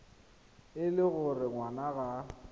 e le gore ngwana ga